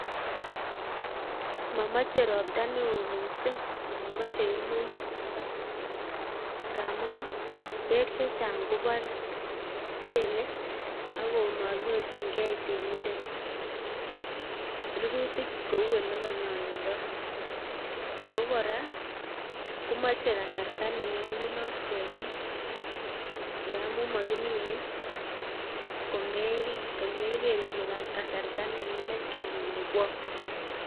Mamache ropta neoo miising' amamache kora ngaamun peek chechang' kobare, pele akomanyorchingei temindet rirutik kouu olekanyolundoi ako kora komache kasarta nenyolunot kemin ngaamun makimine komegeer ile kasarta nenyindet kemin ngwot